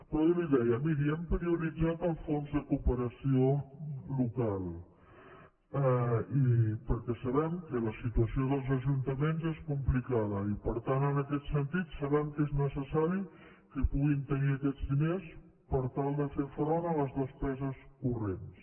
però avui li deia miri hem prioritzat el fons de cooperació local perquè sabem que la situació dels ajuntaments és complicada i per tant en aquest sentit sabem que és necessari que puguin tenir aquests diners per tal de fer front a les despeses corrents